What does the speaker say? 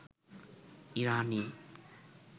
ইরানি